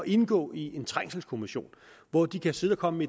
indgå i en trængselskommission hvor de kan sidde og komme